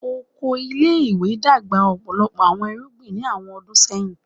Oko ile-iwe dagba ọpọlọpọ awọn irugbin ni awọn ọdun sẹhin